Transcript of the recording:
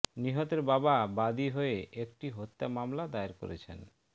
নিহতের বাবা বাদী হয়ে একটি হত্যা মামলা দায়ের করেছেন